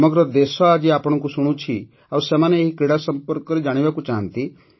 ସମଗ୍ର ଦେଶ ଆଜି ଆପଣଙ୍କୁ ଶୁଣୁଛି ଆଉ ସେମାନେ ଏହି କ୍ରୀଡ଼ା ସମ୍ପର୍କରେ ଜାଣିବାକୁ ଚାହାନ୍ତି